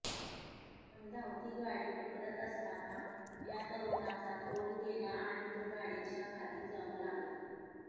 पण धावती गाडी पकडत असताना या तरुणाचा तोल गेला आणि तो गाडीच्या खाली जाऊ लागला